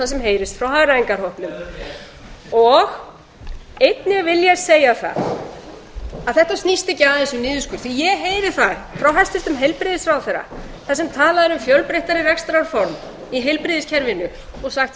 sem heyrist frá hagræðingarhópnum einnig vil ég segja það að þetta snýst ekki aðeins um niðurskurð því að ég heyri það frá hæstvirtum heilbrigðisráðherra þar sem talað er um fjölbreyttari rekstrarform í heilbrigðiskerfinu og sagt ja